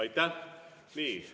Aitäh!